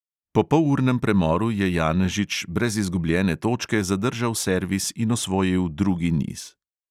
Po polurnem premoru je janežič brez izgubljene točke zadržal servis in osvojil drugi niz.